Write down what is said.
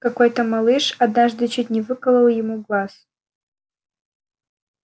какой-то малыш однажды чуть не выколол ему глаз